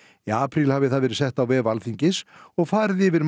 í apríl hafi það verið sett á vef Alþingis og farið yfir